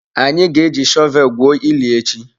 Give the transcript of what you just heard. Anyị ga-eji shọvel gwuo ili echi.